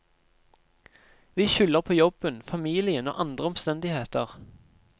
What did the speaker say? Vi skylder på jobben, familien og andre omstendigheter.